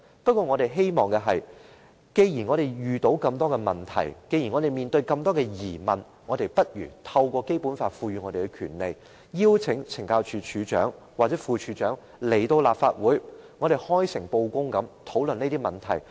可是，我們希望做到的是，既然我們遇到很多問題、面對很多疑問，便應該透過《基本法》賦予我們的權利，邀請懲教署署長或副署長到立法會，開誠布公地討論問題。